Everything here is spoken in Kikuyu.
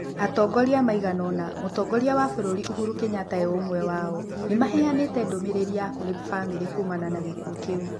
Atongoria maigana ũna, mũtongoria wa bũrũri ũhuru Kĩnyata e ũmwe wao nĩmaheanĩte ndũmĩrĩri ya kũrĩ bamĩrĩ kuumana na gĩkuũkĩu.